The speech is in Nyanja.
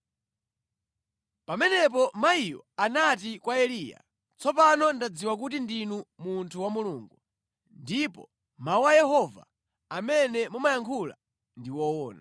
Pamenepo mayiyo anati kwa Eliya, “Tsopano ndadziwa kuti ndinu munthu wa Mulungu ndipo mawu a Yehova amene mumayankhula ndi owona.”